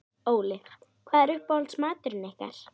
Óli: Hvað er uppáhaldsmaturinn ykkar?